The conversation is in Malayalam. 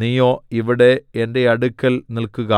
നീയോ ഇവിടെ എന്റെ അടുക്കൽ നില്ക്കുക